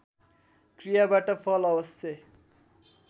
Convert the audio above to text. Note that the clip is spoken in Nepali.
क्रियाबाट फल अवश्य